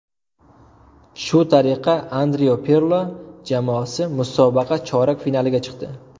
Shu tariqa Andrea Pirlo jamoasi musobaqa chorak finaliga chiqdi.